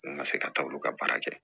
Ne ma se ka taa olu ka baara kɛ